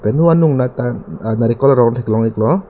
pen hu anung nat ta narikol arong thek long ik lo.